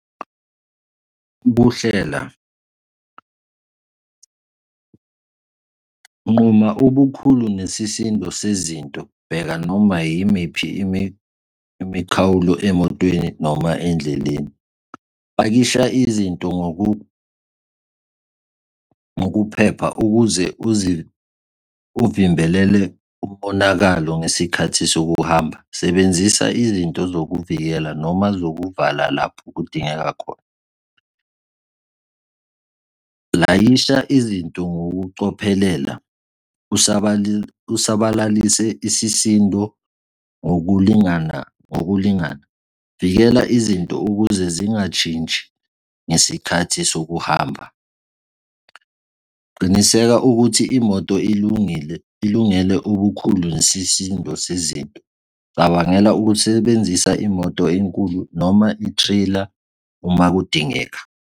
Ukuhlela. nquma ubukhulu nesisindo sezinto. Bheka noma yimiphi imikhawulo emotweni noma endleleni. Pakisha izinto ngokuphepha ukuze uvimbele umonakalo ngesikhathi sokuhamba. Sebenzisa izinto zokuvikela noma zokuvala lapho kudingeka khona. Layisha izinto ngokucophelela kusabalalise isisindo ngokulingana, ngokulingana. Vikela izinto ukuze zingashintshi ngesikhathi sokuhamba. Qiniseka ukuthi imoto ilungile, ilungele ukukhulu nesisindo sezinto. Cabangela ukusebenzisa imoto enkulu noma i-trailer uma kudingeka.